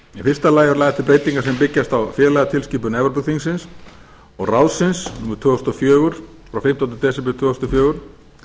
fyrsta lagi eru lagðar til breytingar sem byggjast á félagatilskipun evrópuþingsins og ráðsins númer tvö þúsund og fjögur frá fimmtánda desember tvö þúsund og fjögur